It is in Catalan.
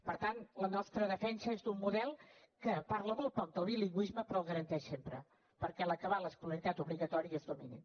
per tant la nostra defensa és d’un model que parla molt poc del bilingüisme però el garanteix sempre perquè a l’acabar l’escolaritat obligatòria es dominin